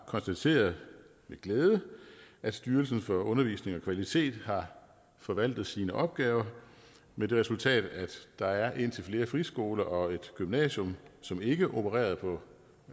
konstateret at styrelsen for undervisning og kvalitet har forvaltet sine opgaver med det resultat at der er indtil flere friskoler og et gymnasium som ikke opererede på